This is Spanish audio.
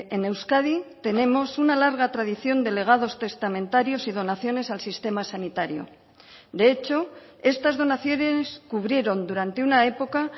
en euskadi tenemos una larga tradición de legados testamentarios y donaciones al sistema sanitario de hecho estas donaciones cubrieron durante una época